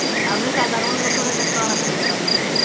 ଆମେ ସାଧାରଣ ଲୋକ କଣ ଶୁଣି ପାରିବୁ